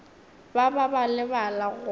ba ba ba lebala go